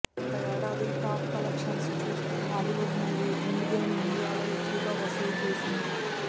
గత ఏడాది top collections చూస్తే హాలీవుడ్ మూవీ ఎండ్ గేమ్ ఇండియాలో ఎక్కువగా వసూళ్లు చేసింది